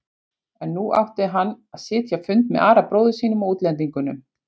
En nú átti hann að sitja fund með Ara bróður sínum og útlendingunum.